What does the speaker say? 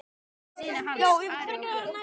Og líka synir hans, Ari og Björn.